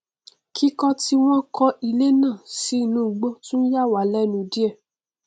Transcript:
kíkọ tí wọn kọ ilé náà sí inú igbó tún yàwá lẹnù díẹ